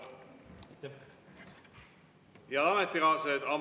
Head ametikaaslased!